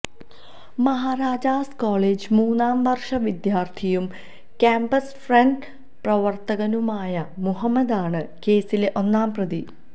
Maharajas college മൂന്നാം വര്ഷ വിദ്യാര്ത്ഥിയും ക്യാന്പസ് ഫ്രണ്ട് പ്രവര്ത്തകനുമായ മുഹമ്മദാണ് കേസിലെ ഒന്നാം പ്രതി